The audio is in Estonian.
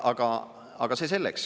Aga see selleks.